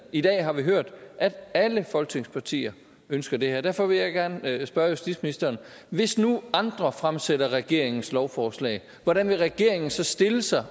i dag har vi hørt at alle folketingets partier ønsker det her derfor vil jeg gerne spørge justitsministeren hvis nu andre fremsætter regeringens lovforslag hvordan vil regeringen så stille sig